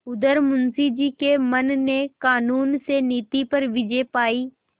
उधर मुंशी जी के मन ने कानून से नीति पर विजय पायी